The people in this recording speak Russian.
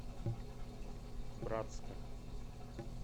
братска